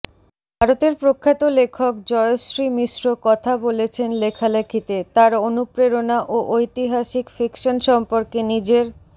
ভারতের প্রখ্যাত লেখক জয়শ্রী মিশ্র কথা বলেছেন লেখালেখিতে তার অনুপ্রেরণা ও ঐতিহাসিক ফিকশন সম্পর্কে নিজের